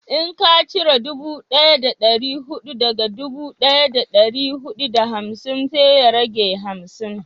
in ka cire dubu daya da dari hudu daga dubu daya da dari hudu da hamsin zai rage hamsin